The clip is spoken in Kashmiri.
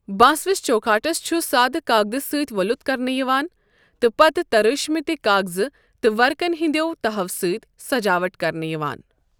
بٲنس وِس چوكھاٹس چھ سادٕ کاکدٕ سۭتۍ وۄلٗت كرنہٕ یوان تہٕ پتہٕ ترٲشمٕتہِ كاكزٕ تہٕ ورقن ہٕنٛدٮ۪و تَہَو سٕتۍ سجاوٹ كرنہٕ یوان ۔